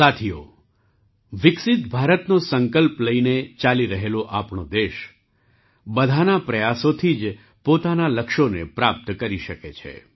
સાથીઓ વિકસિત ભારતનો સંકલ્પ લઈને ચાલી રહેલો આપણો દેશ બધાના પ્રયાસોથી જ પોતાનાં લક્ષ્યોને પ્રાપ્ત કરી શકે છે